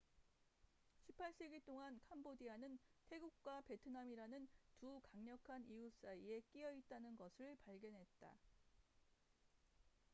18세기 동안 캄보디아는 태국과 베트남이라는 두 강력한 이웃 사이에 끼여 있다는 것을 발견했다